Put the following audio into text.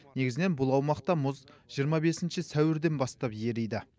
негізінен бұл аумақта мұз жиырма бесінші сәуірден бастап ериді